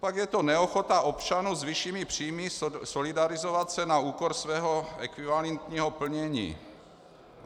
Pak je to neochota občanů s vyššími příjmy solidarizovat se na úkor svého ekvivalentního plnění.